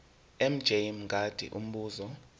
mj mngadi umbuzo